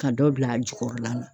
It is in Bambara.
Ka dɔ bila a jukɔrɔla la.